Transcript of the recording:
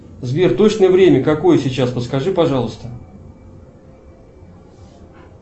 сбер точное время какое сейчас подскажи пожалуйста